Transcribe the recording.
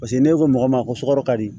Paseke n'e ko mɔgɔ ma ko sɔgɔ ka di